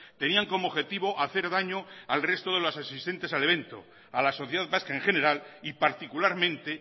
tenían como objetivo hacer daño al resto de los asistentes al evento a la sociedad vasca en general y particularmente